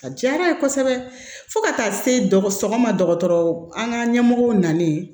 A diyara n ye kosɛbɛ fo ka taa se dɔgɔtɔrɔ ma dɔgɔtɔrɔ an ka ɲɛmɔgɔw nanen